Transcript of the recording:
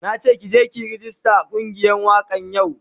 Na ke ki je ki yi ragista a kungiyar wakan yau.